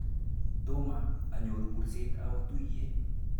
Toma anyoru kurset awo tuiyet.